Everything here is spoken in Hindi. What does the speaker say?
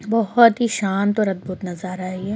बोहोत ही शांत और अद्भुत नज़ारा है ये --